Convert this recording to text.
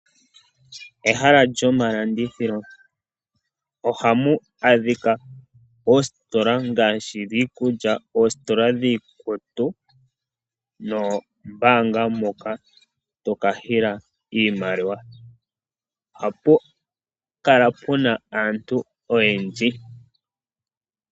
Ehala lyomalandithilo, ohamu adhika oositola ngaashi dhiikulya, oositola dhiikutu noombaanga moka to ka hila iimaliwa. Ohapu kala puna aantu oyendji.